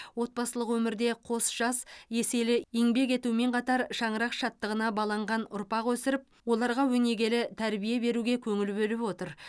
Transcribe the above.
отбасылық өмірде қос жас еселі еңбек етумен қатар шаңырақ шаттығына баланған ұрпақ өсіріп оларға өнегелі тәрбие беруге көңіл бөліп отыр